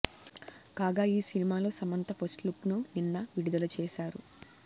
కాగా ఈ సినిమాలో సమంత ఫస్ట్ లుక్ను నిన్న విడుదల చేశారు